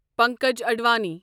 Pankaj Advani